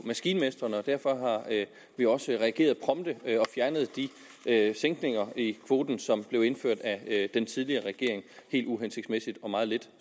maskinmestrene og derfor har vi også reageret prompte og fjernet de sænkninger i kvoten som blev indført af den tidligere regering helt uhensigtsmæssigt og meget lidt